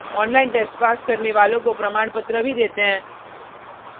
online test pass करने वालों को प्रमाणपत्र भी देते हैं